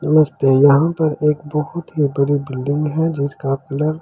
नमस्ते यहाँ पर एक बहुत ही बड़ी बिल्डिंग है जिसका पिलर जिसकी।